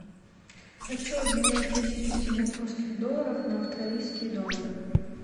хочу обменять тысячу сингапурских долларов на австралийские доллары